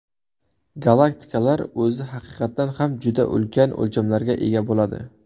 Galaktikalar o‘zi haqiqatan ham juda ulkan o‘lchamlarga ega bo‘ladi.